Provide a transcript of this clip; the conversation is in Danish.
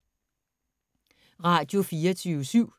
Radio24syv